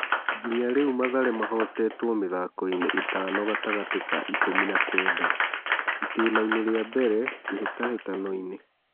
Nginya rĩ u Mathare mahotetwo mĩ thakoinĩ ĩ tano gatagatĩ ka ikũmi na kenda (itĩ nainĩ ria mbere kĩ hĩ tahĩ tanoinĩ ).